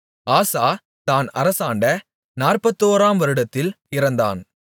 ஆசா தான் அரசாண்ட நாற்பத்தோராம் வருடத்தில் இறந்தான்